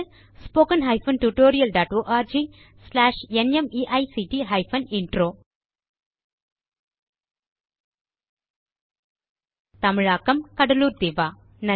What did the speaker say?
spoken hyphen tutorial dot org slash NMEICT hyphen intro தமிழாக்கம் கடலூர் திவா